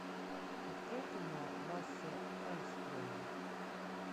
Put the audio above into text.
открой кино лассе халльстрема